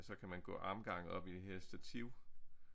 Så kan man gå armgang op i det her stativ